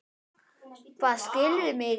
Hvað, skilurðu mig ekki?